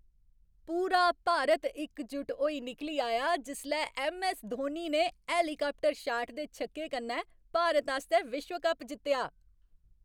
पूरा भारत इकजुट होई निकली आया जिसलै ऐम्म.ऐस्स. धोनी ने हेलीकाप्टर शाट दे छक्के कन्नै भारत आस्तै विश्व कप जित्तेआ।